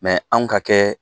Mɛ anw ka kɛ